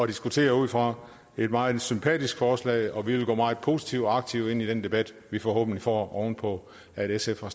diskutere ud fra det et meget sympatisk forslag og vi vil gå meget positivt og aktivt ind i den debat vi forhåbentlig får oven på at sf har